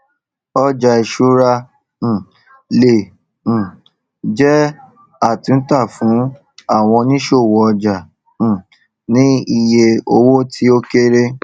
ọjà ìṣúra um le um è jẹ àtúntà fún àwọn òníṣòwò ọjà um ní iye owó tí ó kéré